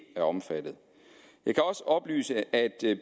er omfattet jeg kan også oplyse at